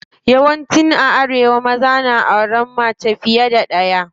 Yawan ci a arewa maza na auren mace fiye da ɗaya.